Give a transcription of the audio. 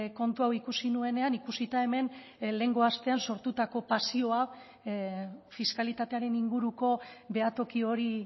kontu hau ikusi nuenean ikusita hemen lehengo astean sortutako pasioa fiskalitatearen inguruko behatoki hori